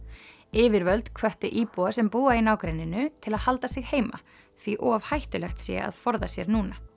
yfirvöld hvöttu íbúa sem búa í nágrenninu til að halda sig heima því of hættulegt sé að forða sér núna